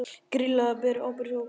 Grýla ber ábyrgð á gosinu